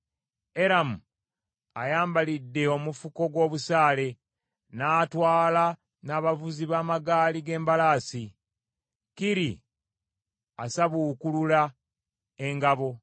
Eramu ayambalidde omufuko gw’obusaale, n’atwala n’abavuzi b’amagaali ge n’embalaasi, Kiri asabuukulula engabo.